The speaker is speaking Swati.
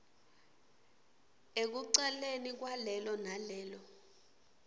ekucaleni kwalelo nalelo